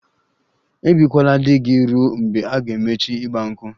Ebikwala di gị ruo mgbe a ga-emechi 'Igba nkwu'!